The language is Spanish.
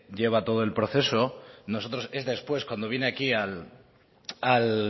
lleva todo el proceso nosotros es después cuando viene aquí al